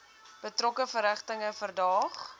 betrokke verrigtinge verdaag